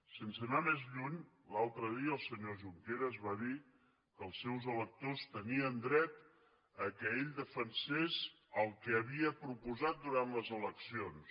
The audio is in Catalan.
sense anar més lluny l’altre dia el senyor junqueras va dir que els seus electors tenien dret que ell defensés el que havia proposat durant les eleccions